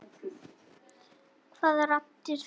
Hvaða raddir þá?